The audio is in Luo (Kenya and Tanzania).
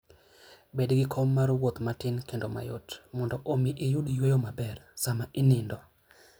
Bed gi kom mar wuoth matin kendo mayot, mondo omi iyud yueyo maber sama inindo.